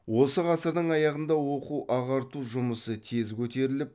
осы ғасырдың аяғында оқу ағарту жұмысы тез көтеріліп